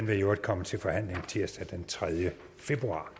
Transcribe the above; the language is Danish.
vil komme til forhandling tirsdag den tredje februar